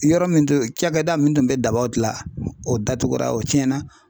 Yɔrɔ min don cakɛda min tun bɛ dabaw gila o datugura o tiɲɛna.